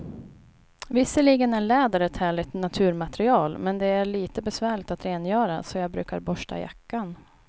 Visserligen är läder ett härligt naturmaterial, men det är lite besvärligt att rengöra, så jag brukar borsta jackan.